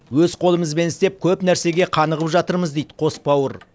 өз қолымызбен істеп көп нәрсеге қанығып жатырмыз дейді қос бауыр